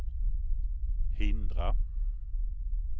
hindra